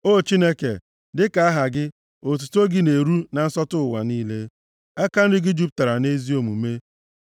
O Chineke, dịka aha gị, otuto gị na-eru na nsọtụ ụwa niile; aka nri gị jupụtara nʼezi omume.